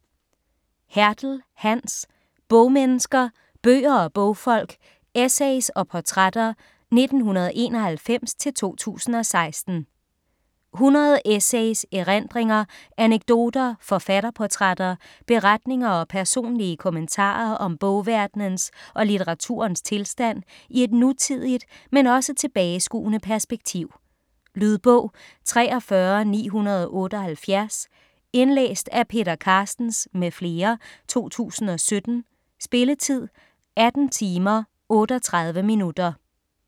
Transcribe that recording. Hertel, Hans: Bogmennesker: bøger og bogfolk: essays og portrætter 1991-2016 100 essays, erindringer, anekdoter, forfatterportrætter, beretninger og personlige kommentarer om bogverdenens og litteraturens tilstand i et nutidigt, men også tilbageskuende perspektiv. Lydbog 43978 Indlæst af Peter Carstens m.fl., 2017. Spilletid: 18 timer, 38 minutter.